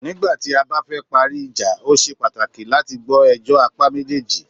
Nígbà tí a bá fẹ parí ìjà,o ṣe pàtàkì láti gbọ́ ẹjọ́ apá méjèèjì.